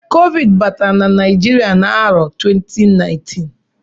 Covid batara na Naijiria n'arọ 2019